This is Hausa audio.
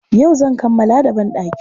Yau zan kammala da banɗakin.